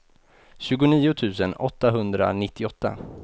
tjugonio tusen åttahundranittioåtta